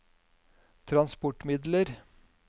transportmidler